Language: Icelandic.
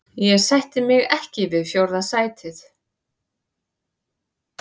Ég sætti mig ekki við fjórða sætið.